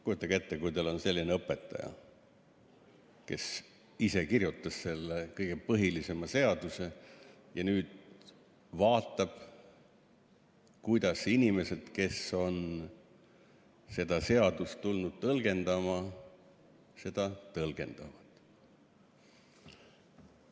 Kujutage ette, kui teil on selline õpetaja, kes ise kirjutas selle kõige põhilisema seaduse, ja nüüd vaatab, kuidas inimesed, kes on seda seadust tulnud tõlgendama, seda tõlgendavad.